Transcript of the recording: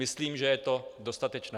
Myslím, že je to dostatečné.